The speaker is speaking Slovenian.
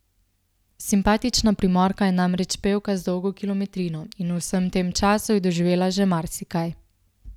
Simpatična Primorka je namreč pevka z dolgo kilometrino in v vsem tem času je doživela že marsikaj.